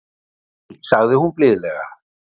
Nei sagði hún blíðlega.